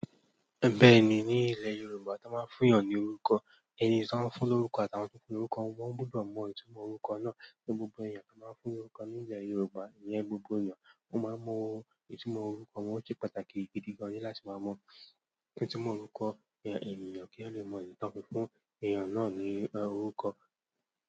Bẹ́ẹ̀ ni, ní ilẹ̀ Yorùbá, tí wọ́n bá fún ènìyàn ní orúkọ, ẹni tí wọ́n ń fún lóruko àtàwọn fúnfún orúkọ, wọ́n gbọdọ mọ ìtumọ̀ orúkọ náà. Ní gbogbo èèyàn tí won bá fún nk orúkọ ní ilẹ̀ Yorùbá, ìyẹn gbogbo ènìyàn, wọ́n máa mọ ìtumọ̀ orúkọ wọn. Ó ṣe pàtàkì gidi gan ní láti máa mọ ìtumọ̀ orúkọ ẹni ènìyàn kí a lè mọ idi tan fi fúnfún ènìyàn náà ní orúkọ.